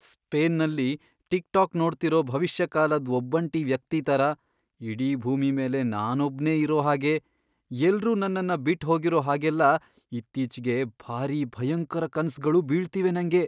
ಸ್ಪೇನ್ನಲ್ಲಿ TikTok ನೋಡ್ತಿರೋ ಭವಿಷ್ಯಕಾಲದ್ ಒಬ್ಬಂಟಿ ವ್ಯಕ್ತಿ ಥರ ಇಡೀ ಭೂಮಿ ಮೇಲೆ ನಾನೊಬ್ನೇ ಇರೋ ಹಾಗೆ, ಎಲ್ರೂ ನನ್ನನ್ನ ಬಿಟ್ಹೋಗಿರೋ ಹಾಗೆಲ್ಲ ಇತ್ತೀಚ್ಗೆ ಭಾರೀ ಭಯಂಕರ ಕನ್ಸ್ಗಳು ಬೀಳ್ತಿವೆ ನಂಗೆ.